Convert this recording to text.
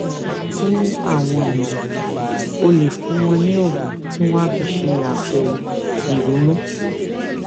fún àwọn èèyàn o lè fún wọn ní oògùn tí wón á fi ṣe àpò ìrunú